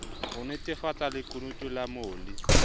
ho nnetefatsa lekunutu la molli